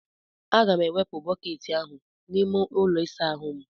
Aga m ga-ewepụ bọket ahụ n'ime ụlọ ịsa ahụ m.